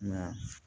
Nka